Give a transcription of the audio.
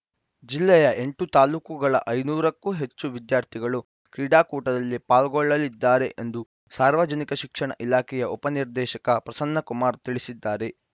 ಜಿಲ್ಲೆಯ ಎಂಟು ತಾಲ್ಲೂಕುಗಳ ಐದುನೂರು ಕ್ಕೂ ಹೆಚ್ಚು ವಿದ್ಯಾರ್ಥಿಗಳು ಕ್ರೀಡಾಕೂಟದಲ್ಲಿ ಪಾಲ್ಗೊಳ್ಳಲಿದ್ದಾರೆ ಎಂದು ಸಾರ್ವಜನಿಕ ಶಿಕ್ಷಣ ಇಲಾಖೆಯ ಉಪನಿರ್ದೇಶಕ ಪ್ರಸನ್ನ ಕುಮಾರ್‌ ತಿಳಿಸಿದ್ದಾರೆ